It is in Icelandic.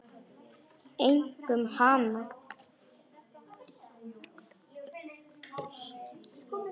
Einkum hana.